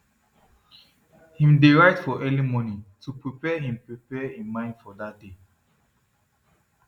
him dey write for early morning to prepare him prepare him mind for dat day